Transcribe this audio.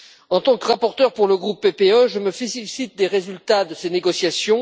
En tant que rapporteur pour le groupe PPE, je me félicite des résultats de ces négociations.